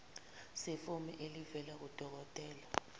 sefomu elivela kudokodela